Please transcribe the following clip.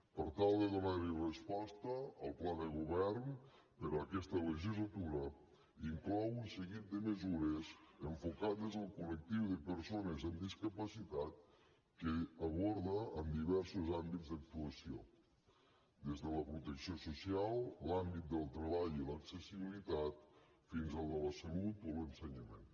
per tal de donarhi resposta el pla de govern per a aquesta legislatura inclou un seguit de mesures enfocades al col·lectiu de persones amb discapacitat que s’aborda de diversos àmbits d’actuació des de la protecció social l’àmbit del treball i l’accessibilitat fins al de la salut o l’ensenyament